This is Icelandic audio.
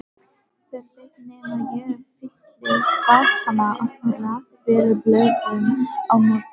Hver veit nema ég fylli vasana af rakvélablöðum á morgun.